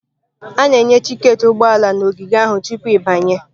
A na-enye tiketi ụgbọ ala na ogige ahụ tupu ịbanye.